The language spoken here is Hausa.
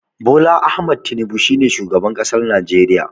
Bola Ahmed Tinibu shine shugaban ƙasar najeriya.